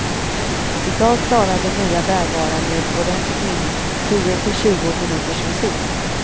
I dag klarar de nya bärbara med ordentligt minne tio till tjugo minuters musik.